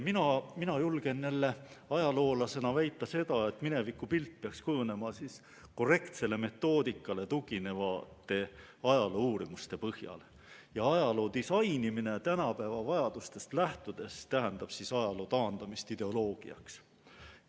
Mina ajaloolasena julgen jälle väita seda, et minevikupilt peaks kujunema korrektsele metoodikale tuginevate ajaloouurimuste põhjal ja ajaloo disainimine tänapäeva vajadustest lähtudes tähendab ajaloo taandamist ideoloogiaks.